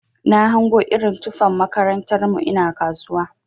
Na hango irin tufan makarantar mu ina kasuwa.